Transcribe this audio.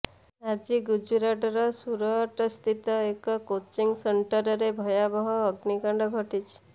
ଆଜି ଗୁଜୁରାଟର ସୁରଟସ୍ଥିତ ଏକ କୋଚିଂ ସେଣ୍ଟରରେ ଭୟାବହ ଅଗ୍ନିକାଣ୍ଡ ଘଟିଛି